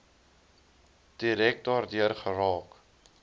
direk daardeur geraak